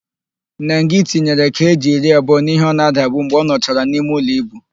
Nengị tinyere keeji iri abụọ n'íhé ọ na-adabu mgbe ọ nọchara n'imeụlọ íbù.